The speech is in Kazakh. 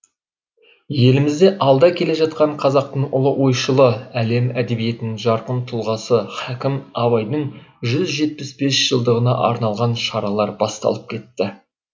елімізде алда келе жатқан қазақтың ұлы ойшылы әлем әдебиетінің жарқын тұлғасы хакім абайдың жүз жетпіс бес жылдығына арналған шаралар басталып кетті